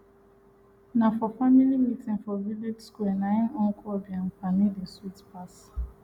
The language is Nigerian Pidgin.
na for family meeting for village square na im nkwobi and palmi dey sweet pass